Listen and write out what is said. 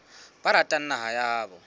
ba ratang naha ya habo